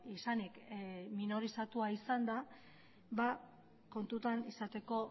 izanik minorizatua izanda kontutan izateko